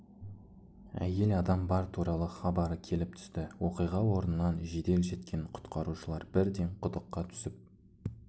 әйел адам бар туралы хабары келіп түсті оқиға орнынан жедел жеткен құтқарушылар бірден құдыққа түсіп